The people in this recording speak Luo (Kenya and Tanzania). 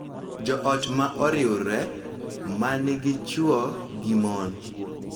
Jo ot ma oriwre, ma nigi chwo gi mon